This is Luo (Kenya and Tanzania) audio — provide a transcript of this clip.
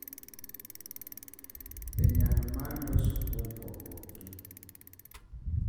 Be nyalo mar loso kuom pogruokgi .